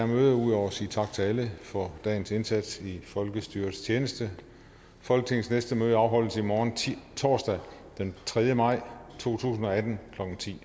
møde ud over at sige tak til alle for dagens indsats i folkestyrets tjeneste folketingets næste møde afholdes i morgen torsdag den tredje maj to tusind og atten klokken ti